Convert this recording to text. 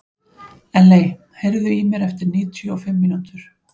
Elley, heyrðu í mér eftir níutíu og fimm mínútur.